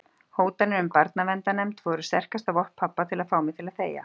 Hótanirnar um barnaverndarnefnd voru sterkasta vopn pabba til að fá mig til að þegja.